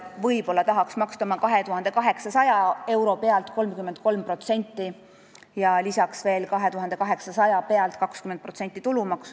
Võib-olla ta tahaks maksta oma 2800 euro pealt 33% sotsiaalmaksu ja lisaks veel 20% tulumaksu.